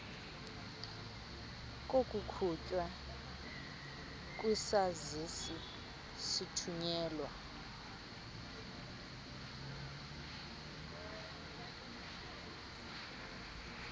kokukhutshwa kwesazisi sithunyelwa